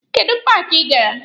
Kedụ paaki ị gara?